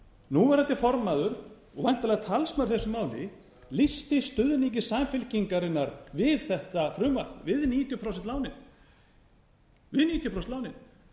núverandi formaður og væntanlega talsmaður í þessu máli lýsti stuðningi samfylkingarinnar við þetta frumvarp við níutíu prósent lánin